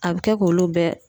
A be kɛ k'olu bɛɛ